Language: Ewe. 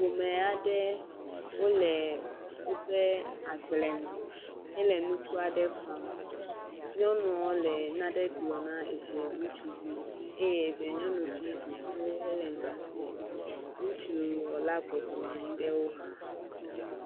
Ƒome aɖe wòle woƒe agbalẽme he le nuku aɖe ƒam, nyɔnuɔ le na ɖe gblɔ na eviɛ ŋutsuvi, eye eviɛ nyɔnuvi ɖo to he le nya sẽ, ŋutsuɔ la bɔbɔnɔ anyi ɖewo exa.